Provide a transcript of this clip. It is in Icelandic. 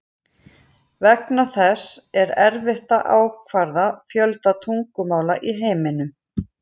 Vegna þessa er erfitt að ákvarða fjölda tungumála í heiminum.